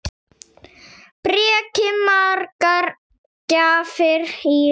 Breki: Margar gjafir í ár?